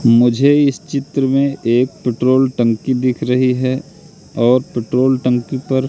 मुझे इस चित्र मे एक ट्यूट्रॉल टंकी दिख रही है और ट्यूट्रॉल टंकी पर --